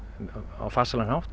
á farsælan hátt